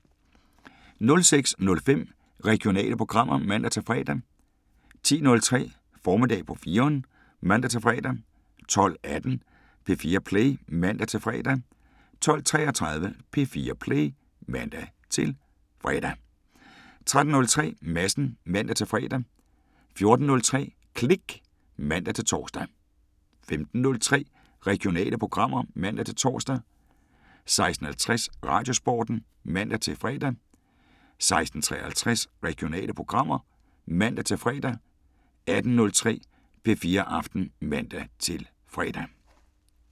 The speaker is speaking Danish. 06:05: Regionale programmer (man-fre) 10:03: Formiddag på 4'eren (man-fre) 12:18: P4 Play (man-fre) 12:33: P4 Play (man-fre) 13:03: Madsen (man-fre) 14:03: Klik (man-tor) 15:03: Regionale programmer (man-tor) 16:50: Radiosporten (man-fre) 16:53: Regionale programmer (man-fre) 18:03: P4 Aften (man-fre)